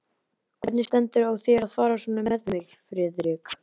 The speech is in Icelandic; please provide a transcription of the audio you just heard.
Hvernig stendur á þér að fara svona með mig, Friðrik?